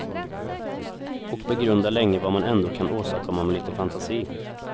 Och begrundar länge vad man ändå kan åstadkomma med lite fantasi.